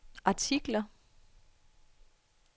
artikler